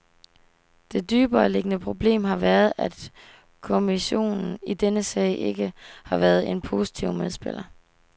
Det dybereliggende problem har været at kommissionen i denne sag ikke har været en positiv medspiller.